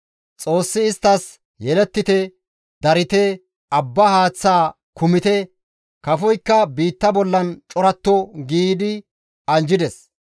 Xoossi isttas, «Yelettite; darite; abba haaththaa kumite; kafoykka biitta bollan coratto» gi anjjides.